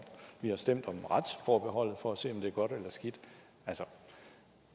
vi har stemt om retsforbeholdet for at se om det er godt eller skidt altså